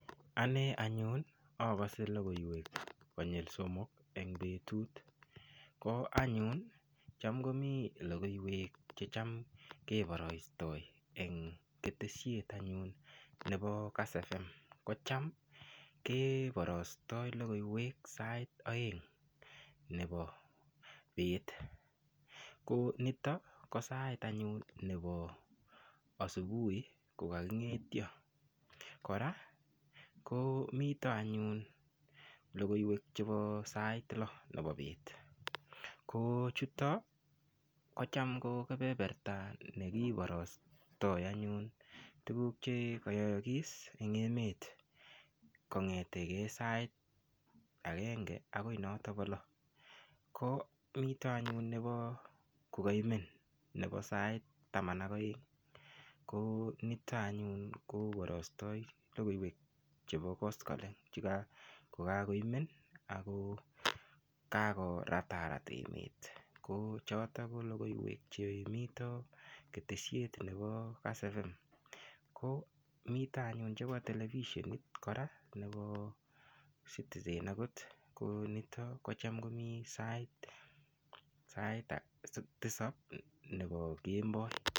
Ane anyun akose lokoiwek konyul somok eng' betut ko anyun cham komi lokoiwek checham keborastoi eng' keteshet anyun nebo kass FM kocham keborostoi lokoiwek sait oeng' nebo beet ko nito ko sait anyun nebo asubuhi kokaking'etyo kora ko mito anyun lokoiwek chebo sait loo nebo beet ko chuto kocham ko kepeperta nekiborostoi anyun tukuk chekoyoyokis eng' emet kong'etekei sait agenge akoi noto bo loo ko mito anyun nebo kokaimen nebo sait taman ak oeng' ko nito anyun koborostoi lokoiwek chebo koskoling' kokakoimen ako kakoratarat emet ko choto ko lokoiwek chemito keteshiet nebo kass FM ko mito anyun chebo televisenit kora nebo citizen akot ko nito kocham komi sait tisop nebo kemboi